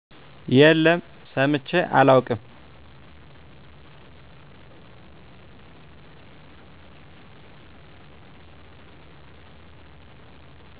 የለም ሰምቸ አላውቅም